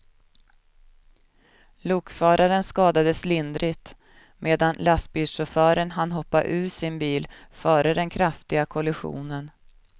Lokföraren skadades lindrigt medan lastbilschauffören hann hoppa ur sin bil före den kraftiga kollisionen.